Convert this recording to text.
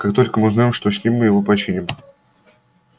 как только мы узнаем что с ним мы его починим